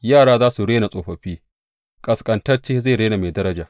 Yara za su rena tsofaffi, ƙasƙantacce zai rena mai daraja.